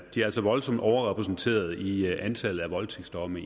er altså voldsomt overrepræsenteret i antallet af voldtægtsdomme